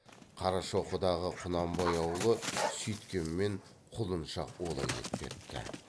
қарашоқыдағы құнанбай аулы сүйткенмен құлыншақ олай етпепті